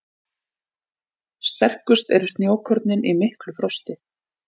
Sterkust eru snjókornin í miklu frosti.